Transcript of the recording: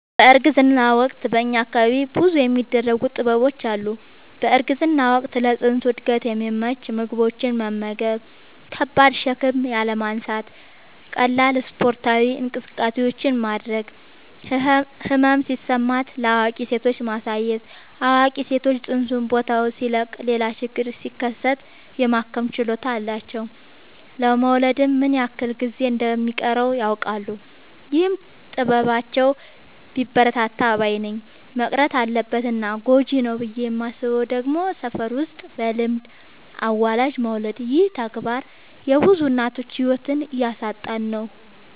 በእርግዝና ወቅት በእኛ አካባቢ ብዙ የሚደረጉ ጥበቦች አሉ። በእርግዝና ወቅት ለፅንሱ እድገት የሚመቹ ምግቦችን መመገብ። ከባድ ሸክም ያለማንሳት ቀላል ስፓርታዊ እንቅስቃሴዎችን ማድረግ። ህመም ሲሰማት ለአዋቂ ሴቶች ማሳየት አዋቂ ሰዎች ፅንሱ ቦታውን ሲለቅ ሌላ ችግር ሲከሰት የማከም ችሎታ አላቸው ለመወለድ ምን ያክል ጊዜ እንደ ሚቀረውም ያውቃሉ። ይህ ጥበባቸው ቢበረታታ ባይነኝ። መቅረት አለበት እና ጎጂ ነው ብዬ የማስበው ደግሞ ሰፈር ውስጥ በልምድ አዋላጅ መውለድ ይህ ተግባር የብዙ እናቶችን ህይወት እያሳጣን ነው።